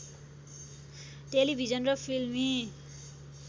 television र फिल्मी